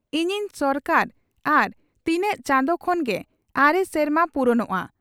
ᱤᱧᱤᱧ ᱥᱚᱨᱠᱟᱨᱟᱜ ᱟᱨ ᱛᱤᱱᱟᱝ ᱪᱟᱸᱫᱚ ᱠᱷᱚᱱ ᱜᱮ ᱟᱨᱮ ᱥᱮᱨᱢᱟ ᱯᱩᱨᱩᱱᱚᱜᱼᱟ ᱾